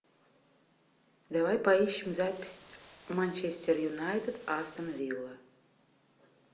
давай поищем запись манчестер юнайтед астон вилла